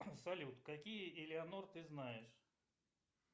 салют какие элеонор ты знаешь